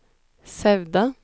Sauda